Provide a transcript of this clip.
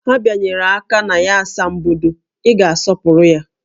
Ha bịanyere aka na ya asambodo, Ị ga-asọpụrụ ya!